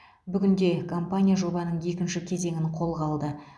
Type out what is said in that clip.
бүгінде компания жобаның екінші кезеңін қолға алды